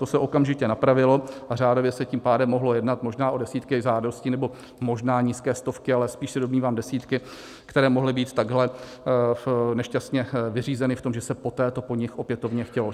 To se okamžitě napravilo a řádově se tím pádem mohlo jednat možná o desítky žádostí, nebo možná nízké stovky, ale spíš se domnívám desítky, které mohly být takhle nešťastně vyřízeny v tom, že se poté to po nich opětovně chtělo.